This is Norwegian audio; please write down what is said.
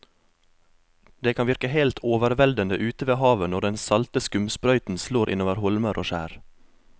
Det kan virke helt overveldende ute ved havet når den salte skumsprøyten slår innover holmer og skjær.